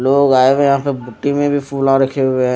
लोग आए हुए है यहां पे में भी रखे हुए--